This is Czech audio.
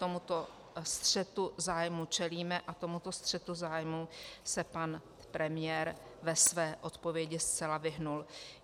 Tomuto střetu zájmu čelíme a tomuto střetu zájmu se pan premiér ve své odpovědi zcela vyhnul.